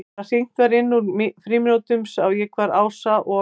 Þegar hringt var inn úr frímínútunum sá ég hvar Ása og